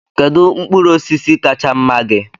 Kedu mkpụrụ osisi kacha mma gị?